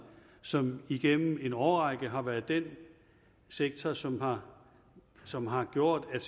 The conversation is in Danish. som igennem en årrække har været den sektor som har som har gjort at